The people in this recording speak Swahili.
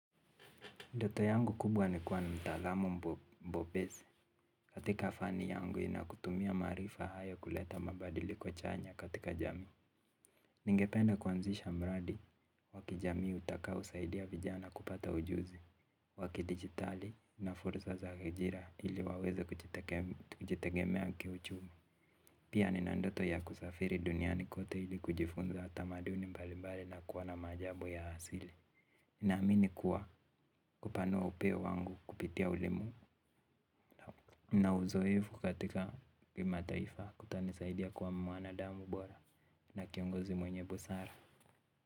Ndoto yangu kubwa ni kuwa mtaalamu mbobese. Katika fani yangu inakutumia maarifa hayo kuleta mabadiliko chanya katika jamii. Ningependa kuanzisha mradi, wa kijamii utakaousaidia vijana kupata ujuzi. Wa kidigitali na fursa za ajira ili waweze kujitegemea kiuchumi. Pia nina ndoto ya kusafiri duniani kote ili kujifunza tamaduni mbali mbali na kuona maajabu ya asili. Naamini kuwa kupanua upeo wangu kupitia ulimu na uzoevu katika kimataifa kutanisaidia kuwa mwanadamu bora na kiongozi mwenye busara.